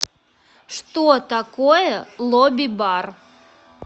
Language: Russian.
что такое лобби бар